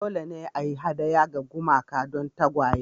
Dole ne a yi hadaya ga gumaka don tagwaye